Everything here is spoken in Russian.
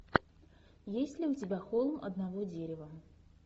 есть ли у тебя холм одного дерева